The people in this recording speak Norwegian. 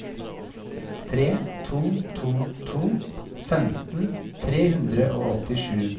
tre to to to femten tre hundre og åttisju